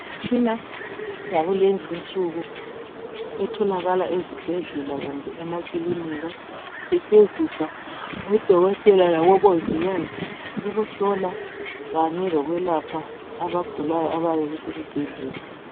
Imtshina yakulezi insuku, etholakala ezibhedlela kumbe emakilinika. Isetshenziswa ngodokotela labomongikazi. Ukuhlola kanye lokwelapha, abagulayo abayabe besesibhedlela.